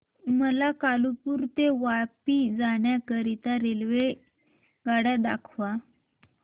मला कालुपुर ते वापी जाण्या करीता रेल्वेगाड्या दाखवा